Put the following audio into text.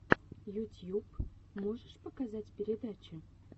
ютьюб можешь показать передачи